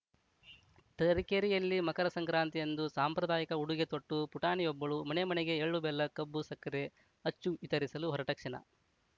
ತರೀಕೆರೆಯಲ್ಲಿ ಮಕರ ಸಂಕ್ರಾಂತಿಯಂದು ಸಾಂಪ್ರಾದಾಯಿಕ ಉಡುಗೆ ತೊಟ್ಟು ಪುಟಾಣಿಯೊಬ್ಬಳು ಮನೆ ಮನೆಗೆ ಎಳ್ಳು ಬೆಲ್ಲ ಕಬ್ಬು ಸಕ್ಕರೆ ಅಚ್ಚು ವಿತರಿಸಲು ಹೊರಟ ಕ್ಷಣ